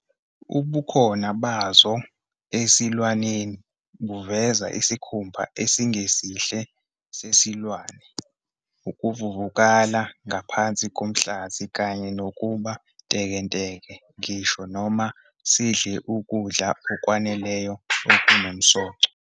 Ubukhona bazo esilwaneni buvezwa isikhumba esingesihle sesilwane, ukuvuvuka ngaphansi komhlathi kanye nokuba ntekenteke ngisho noma sidle ukudla okwaneleyo okunomsoco.